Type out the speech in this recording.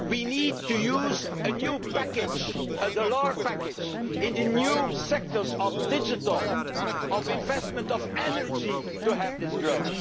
growth. We need to use a new package a Delors package in the new sectors of digital and investment in energy to have this